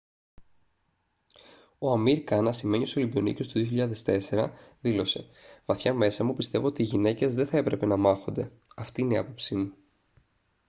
ο amir khan ασημένιος ολυμπιονίκης του 2004 δήλωσε «βαθιά μέσα μου πιστεύω ότι οι γυναίκες δεν θα έπρεπε να μάχονται. αυτή είναι η άποψή μου»